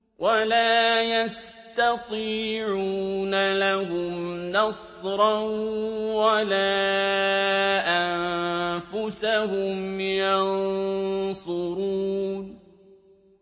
وَلَا يَسْتَطِيعُونَ لَهُمْ نَصْرًا وَلَا أَنفُسَهُمْ يَنصُرُونَ